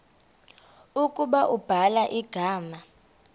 ukuba ubhala igama